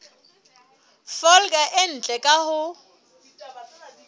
folaga e ntle ka ho